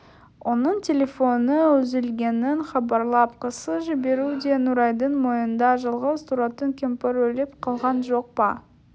оның телефоны үзілгенін хабарлап кісі жіберу де нұрайдың мойнында жалғыз тұратын кемпір өліп қалған жоқ па